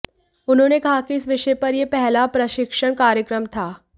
उन्होंने कहा कि इस विषय पर यह पहला प्रशिक्षण कार्यक्रम था